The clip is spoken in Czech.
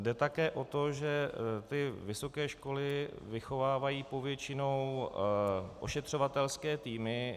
Jde také o to, že ty vysoké školy vychovávají povětšinou ošetřovatelské týmy.